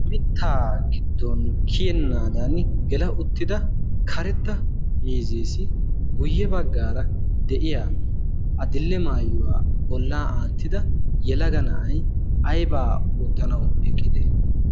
mittaa giddon kiyennaadan gela uttida karetta mizeesi guyye baggaara de'iya adill"e maayuwaa bolla aattida yelaga na'ay aybaa oottanawu eqqite